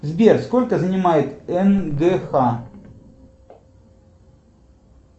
сбер сколько занимает нгх